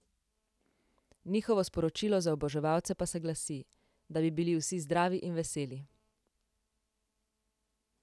Njihovo sporočilo za oboževalce pa se glasi: "Da bi bili vsi zdravi in veseli.